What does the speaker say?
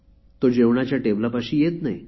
तो जेवणाच्या टेबलापाशी येत नाही